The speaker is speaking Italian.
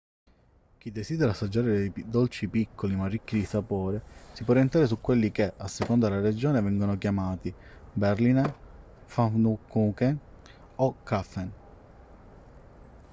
chi desidera assaggiare dei dolci piccoli ma ricchi di sapore si può orientare su quelli che a seconda della regione vengono chiamati berliner pfannkuchen o krapfen